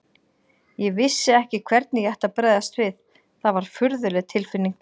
Ég vissi ekki hvernig ég ætti að bregðast við, það var furðuleg tilfinning.